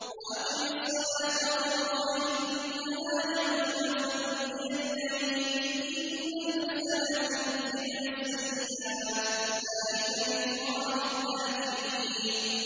وَأَقِمِ الصَّلَاةَ طَرَفَيِ النَّهَارِ وَزُلَفًا مِّنَ اللَّيْلِ ۚ إِنَّ الْحَسَنَاتِ يُذْهِبْنَ السَّيِّئَاتِ ۚ ذَٰلِكَ ذِكْرَىٰ لِلذَّاكِرِينَ